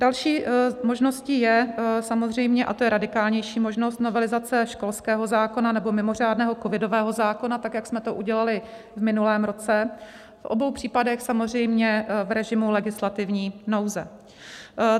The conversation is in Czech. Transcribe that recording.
Další možností je samozřejmě, a to je radikálnější možnost, novelizace školského zákona nebo mimořádného covidového zákona tak, jak jsme to udělali v minulém roce, v obou případech samozřejmě v režimu legislativní nouze.